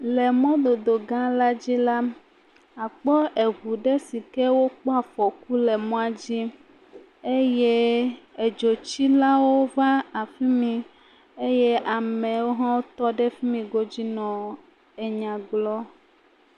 Le mɔdodo gã dzi la. Akpɔ eʋu ɖe sike kpɔ afɔku le mɔa dzi eye edzotsilawo va fimi eye amewo hã tɔ ɖe efimi godzi nɔ enya gblɔm.